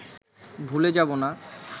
ভুলে যাবো না